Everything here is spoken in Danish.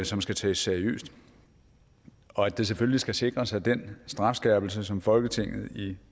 som skal tages seriøst og at det selvfølgelig skal sikres at den strafskærpelse som folketinget i